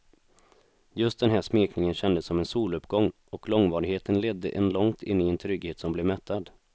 Just den här smekningen kändes som en soluppgång och långvarigheten ledde en långt in i en trygghet som blev mättad.